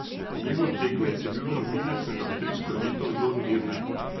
Njihov tekmec je bil novinec med avstrijsko elito Dornbirner.